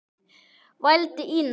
vældi Ína.